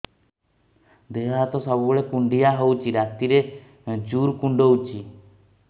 ଦେହ ହାତ ସବୁବେଳେ କୁଣ୍ଡିଆ ହଉଚି ରାତିରେ ଜୁର୍ କୁଣ୍ଡଉଚି